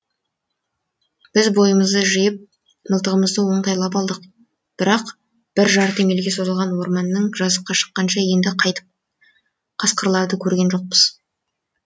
біз бойымызды жиып мылтығымызды оңтайлап алдық бірақ бір жарты мильге созылған орманнан жазыққа шыққанша енді қайтып қасқырларды көрген жоқпыз